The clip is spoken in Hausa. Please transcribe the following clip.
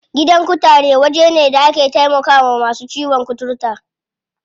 Gidan kutare waje ne da ake taimakawa masu ciwon kuturta.